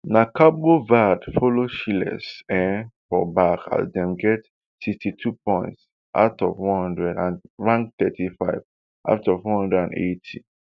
na cabo verde follow seychelles um for back as dem get sixty-two points out of one hundred and rank thirty-five out of one hundred and eighty